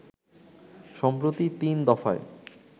সম্প্রতি তিন দফায়